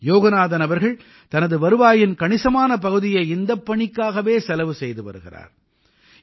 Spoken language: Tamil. யோகநாதன் அவர்கள் தனது வருவாயின் கணிசமான பகுதியை இந்தப் பணிக்காகவே செலவு செய்து வருகிறார்